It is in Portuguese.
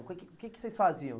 O que que o que que vocês faziam?